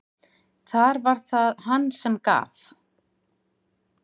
Þar var það hann sem gaf.